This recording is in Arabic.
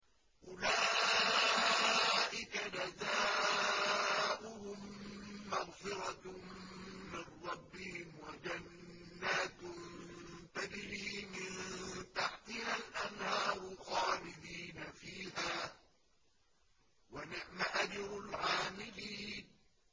أُولَٰئِكَ جَزَاؤُهُم مَّغْفِرَةٌ مِّن رَّبِّهِمْ وَجَنَّاتٌ تَجْرِي مِن تَحْتِهَا الْأَنْهَارُ خَالِدِينَ فِيهَا ۚ وَنِعْمَ أَجْرُ الْعَامِلِينَ